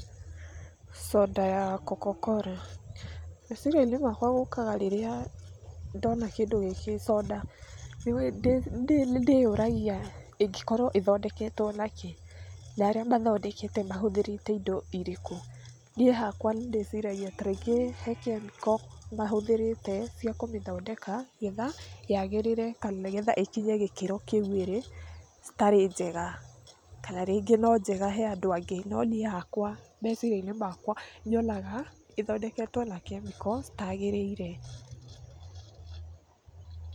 Soda ya Cocacola, meciria-inĩ makwa gũkaga rĩrĩa ndona kĩndũ gĩkĩ, coda. Nĩndĩyũragia ĩngĩkorwo ĩthondeketwo na kĩ? na arĩa mathondekete mahũthĩrĩte indo irĩkũ. Niĩ hakwa nĩndĩciragia ta rĩngĩ he kĩmĩko mahũthĩrĩte cia kũmĩthondeka, getha yagĩrĩre kana nĩ getha ĩkinye gĩkĩro kĩu ĩri, citarĩ njega, kana rĩngĩ no njega he andũ angĩ, no niĩ hakwa, meciria-inĩ makwa nyonaga, ĩthondeketwo na kemĩko citagĩrĩire.